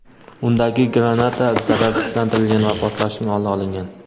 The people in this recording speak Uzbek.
undagi granata zararsizlantirilgan va portlashning oldi olingan.